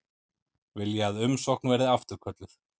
Vilja að umsókn verði afturkölluð